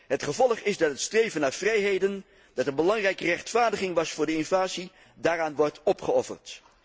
Het gevolg is dat het streven naar vrijheden, dat een belangrijke rechtvaardiging was voor de invasie, daaraan wordt opgeofferd.